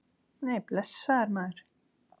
Nei, blessaður, maður.